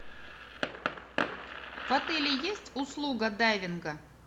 в отеле есть услуга дайвинга